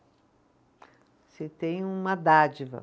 Você tem uma dádiva.